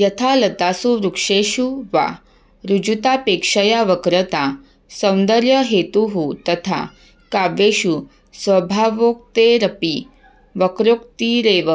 यथा लतासु वृक्षेषु वा ऋजुतापेक्षया वक्रता सौन्दर्यहेतुः तथा काव्येषु स्वभावोक्तेरपि वक्रोक्तिरेव